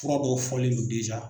Fura dɔw fɔlen no